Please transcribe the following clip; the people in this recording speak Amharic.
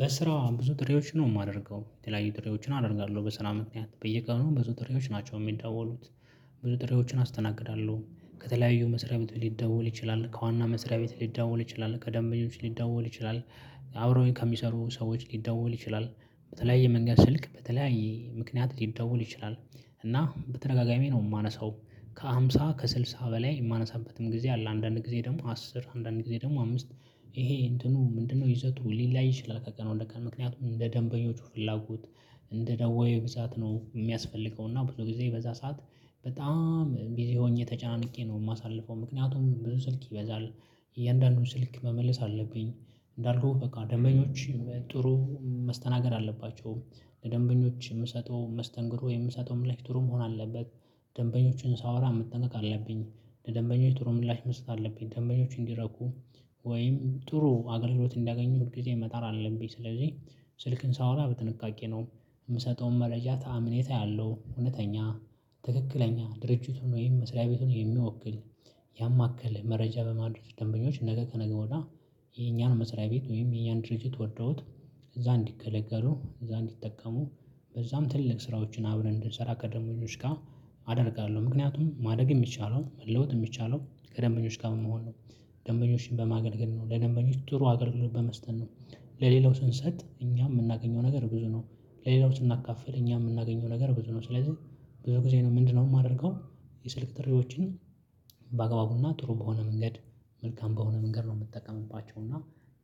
በስራ ብዙ ጥሪዎች ነው የማደርገው የተለያዩ ጥሪዎችን አደርጋለሁ በስራ ምክንያት በየቀኑ ብዙ ጥሪዎች ናቸው የሚደወሉት። ብዙ ጥሪዎችን አስተናግዳለሁ ከተለያዩ መስሪያ ቤት ሊደወል ይችላል ከዋና መስሪያ ቤት ሊደወል ይችላል ከደንበኞች ሊደወል ይችላል አብረውኝ ከሚሰሩ ሰዎች ሊደወል ይችላል በተለያየ መንገድ ስልክ በተለያየ ምክንያት ሊደወል ይችላል። እና በተደጋጋሚ ነው የማነሳው ከሃምሳ ከስልሳ በላይ የማነሳበትም ጊዜ አለ አንዳንድ ጊዜ ደግሞ አስር አንዳንድ ጊዜ ደግሞ አምስት። ይሄ እንትኑ ምንድነው ይዘቱ ሊለያይ ይችላል። ከቀን ወደቀን ምክንያቱም እንደ ደንበኞቹ ፍላጎት እንደ ደወዩ ብዛት ነው የሚያስፈልገው። እና ብዙ ጊዜ በዛ ሰዓት በጣም ቢዚ ሆኜ ተጨናንቄ ነው የማሳልፈው ምክንያቱም ብዙ ስልክ ይበዛል። እያንዳንዱን ስልክ መመለስ አለብኝ እንዳልኩህ በቃ ደንበኞች ጥሩ መስተናገድ አለባቸው። ደንበኞች የምሰጠው መስተንግድ የምሰጠው ምላሽ ትሩ መሆን አለበት። ደንበኞችን ሳወራ መጠንቀቅ አለብኝ ለደንበኛች ጥሩ ምላሽ መስጠት አለብኝ ደንበኞች እንዲረኩ። ወይም ጥሩ አገልግሎት እንዲያገኙ ሁል ጊዜ መጣር አለብኝ። ስለዚህ ስልክም ሳወራ በጥንቃቄ ነው የምሰጠውም መረጃ አመኔታ ያለሁ እውነተኛ ትክክለኛ ድርጅቱን ወይም መስሪያ ቤቱን የሚወክል። ያማከለ መረጃ በማድረግ ደንበኞች ነገ ከነገ ወዲያ የኛን መስሪያ ቤት ወይም የኛን ድርጅት ወደውት። እዛ እንዲገለገሉ እዛ እንዲጠቀሙ በዛም ትልልቅ ስራዎችን አብረን እንድንሰራ ከደሞኞች ጋር። አደርጋለሁ ምክንያቱም ማደግ የሚቻለው መለወጥ የሚቻለው ከደንበኞች ጋር መሆን ነው። ደንበኞችን በማገልገል ነው ለደንበኞች ጥሩ አገልግሎት በመስጠት ነው። ለሌላው ስንሰጥ እኛ የምናገኘው ነገር ብዙ ነው። ለሌላው ስናካፍል እኛ የምናገኘው ነገር ብዙ ነው። ስለዚህ ብዙ ጊዜ ነው ምንድነው የማደርገው? የስልክ ጥሪዎችን በአግባቡና ጥሩ በሆነ መንገድ መልካም በሆነ መንገድ ነው የምጠቀምባቸው። እና